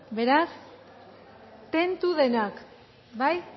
beraz tentu denak bai